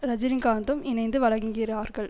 ரஜினிகாந்தும் இணைந்து வழங்குகிறார்கள்